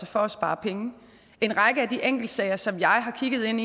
for at spare penge en række af de enkeltsager som jeg har kigget ind